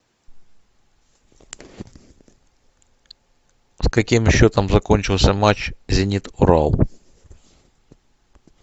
с каким счетом закончился матч зенит урал